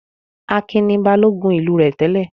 Akin ni Balógun ìlú rẹ̀ tẹ́lẹ̀?